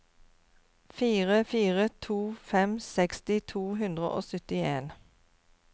fire fire to fem seksti to hundre og syttien